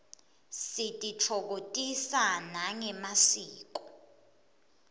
sititfokotisa nangemasiko